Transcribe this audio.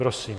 Prosím.